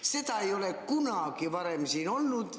Seda ei ole kunagi varem olnud.